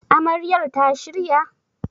Amaryar ta shirya?